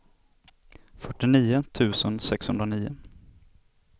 fyrtionio tusen sexhundranio